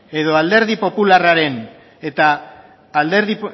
edo